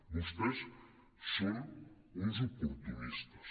vostès són uns oportunistes